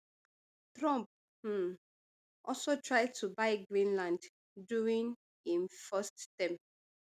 trump um also try to buy greenland during im first term